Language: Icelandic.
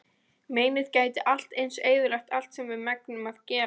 Meinið gæti allt eins eyðilagt allt sem við megnum að gera.